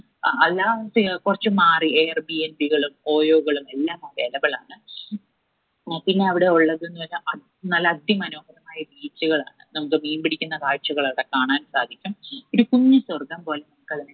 അ അല്ല കൊറച്ച് മാറി air b n b കളും oyo കളും എല്ലാം available ആണ്. ആ പിന്ന അവിടെ ഉള്ളത്ന്ന്‌ പറഞ്ഞ അത് നല്ല അതിമനോഹരമായ beach കളാണ് നമ്മുക്ക് മീൻ പിടിക്കുന്ന കാഴ്ചകൾ അവിടെ കാണാൻ സാധിക്കും ഒരു കുഞ്ഞി സ്വർഗം പോലെ നമുക്കതിനെ